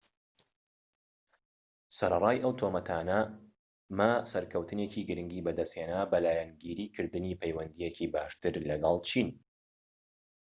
سەرەڕای ئەو تۆمەتانە، ما سەرکەوتنێکی گرنگی بەدەستهێنا بە لایەنگیری کردنی پەیوەندییەکی باشتر لەگەڵ چین